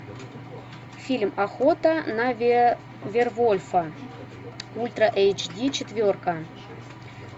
фильм охота на вервольфа ультра эйч ди четверка